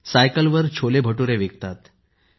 आणि सायकलवर छोले भटूरे विकतात